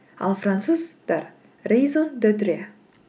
ал француздар реузон де триа